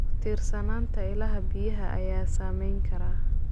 Ku tiirsanaanta ilaha biyaha ayaa saameyn kara.